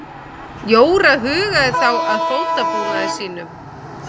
Jóra hugaði þá að fótabúnaði sínum.